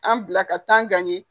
An bila ka taa gan ye